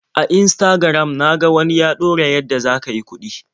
A Instagram na ga wani ya ɗora yadda za ka yi kuɗi.